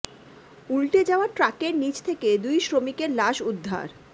উল্টে যাওয়া ট্রাকের নিচ থেকে দুই শ্রমিকের লাশ উদ্ধার